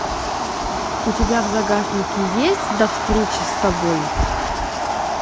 у тебя в загашнике есть до встречи с тобой